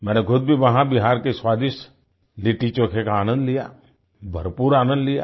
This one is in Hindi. मैंने खुद भी वहां बिहार के स्वादिष्ट लिट्टीचोखे का आनन्द लिया भरपूर आनंद लिया